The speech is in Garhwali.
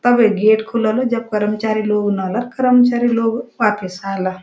तबे गेट खुलोलु जब करमचारी लोग करमचारी लोग वािपस आला।